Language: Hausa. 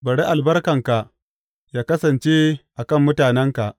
Bari albarkanka yă kasance a kan mutanenka.